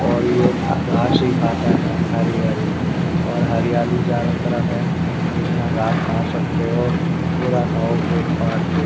और ये घास ही खाता है हरी हरी और हरियाली चारों तरफ है जितना घास खा सकते हो पूरा खाओ पेट फाड़ के।